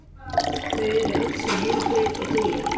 Þau eru öll svo heilbrigð og dugleg.